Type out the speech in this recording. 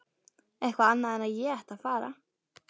Eitthvað annað en að ég ætti að fara.